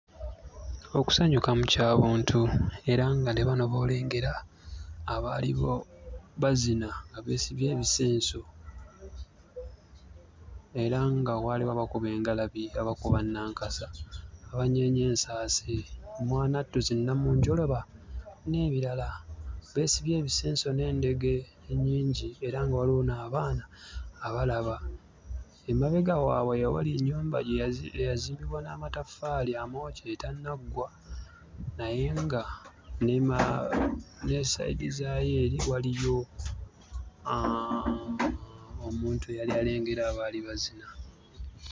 Okusanyukamu Kya buntu era nga ne bano b'olengera abaaliwo bazina nga beesibye ebisenso era nga waaliwo abakuba engalabi, abakuba nnankasa, abanyeenya ensaasi mwanattu znnamunjoloba n'ebirala. Beesibye ebisenso n'endege nnyingi era nga waaliwo n'abaana abalaba. Emabega waabwe we waali ennyumba eyazimbibwa n'amataffaali amookye etannaggwa naye nga ne side zaayo eri waaliyo ah omuntu eyali alengera abaali bazina.